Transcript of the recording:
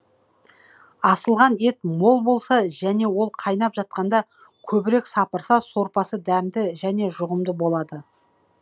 асылған ет мол болса және ол қайнап жатқанда көбірек сапырса сорпасы дәмді және жұғымды болады